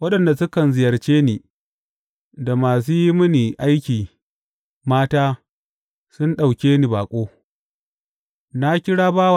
Waɗanda sukan ziyarce ni, da masu yi mini aiki mata sun ɗauke ni baƙo.